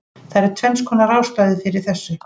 Það eru tvennskonar ástæður fyrir þessu: